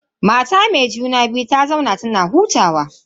Mata me juna biyun ta zauna tana hutawa.